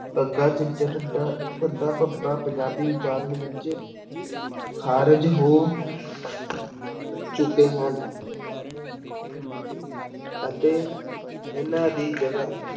ਗੱਗਾ, ਝੱਝਾ, ਢੱਡਾ, ਧੱਧਾ, ਭੱਬਾ ਪੰਜਾਬੀ ਉਚਾਰਨ ਵਿੱਚ ਖਾਰਿਜ ਹੋ ਚੁੱਕੇ ਹਨ ਅਤੇ ਇਹਨਾਂ ਦੀ ਜਗ੍ਹਾ